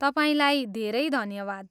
तपाईँलाई धेरै धन्यवाद।